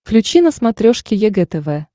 включи на смотрешке егэ тв